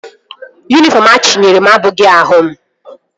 Yunifọm achinyere m abụghị ahụ m